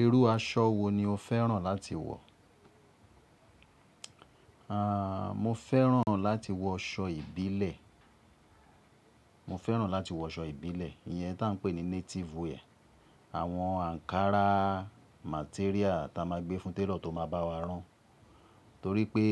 Irú aṣọ wo ni o fẹ́ràn láti wọ̀? Aaa, mo fẹ́ràn láti wọ aṣọ ìbílẹ̀. Mo fẹ́ràn láti wọ aṣọ ìbílẹ̀, iyen tí a ń pè ní native wear. Àwọn ankara material tí a máa gbé fún tailor tó máa bá wa rán. Torí pé,